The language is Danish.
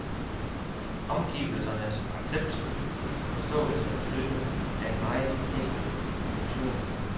Omgivelsernes accept, forståelse og støtte er en meget væsentlig dimension.